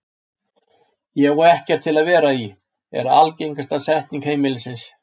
Ég á ekkert til að vera í, er algengasta setning heimilisins.